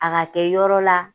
A ka kɛ yɔrɔ la.